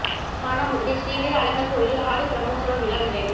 மானாமதுரை ஸ்ரீ வீர அழகா் கோயிலில் ஆடிப் பிரமோற்சவ விழா நிறைவு